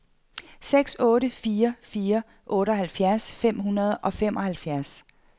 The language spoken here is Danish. seks otte fire fire otteoghalvfjerds fem hundrede og femoghalvfems